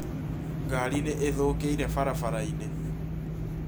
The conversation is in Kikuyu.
Ngari nĩ ithũkĩĩre barabara-inĩ